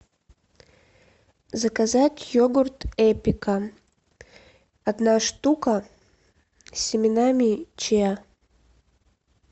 заказать йогурт эпика одна штука с семенами чиа